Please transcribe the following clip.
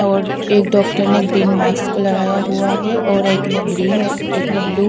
और एक डॉक्टर ने ग्रीन मास्क लगाया हुआ है और एक ने ग्रीन और एक ने ब्लू --